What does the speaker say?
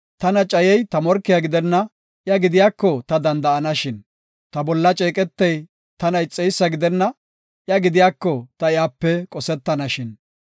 Tana cayey ta morkiya gidenna; iya gidiyako ta danda7anashin. Ta bolla ceeqetey tana ixeysa gidenna; iya gidiyako ta iyape qosetanashin.